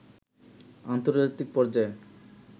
আন্তর্জাতিক পর্যায়ে